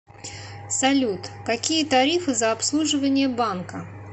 салют какие тарифы за обслуживание банка